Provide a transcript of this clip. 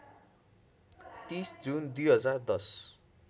३० June २०१०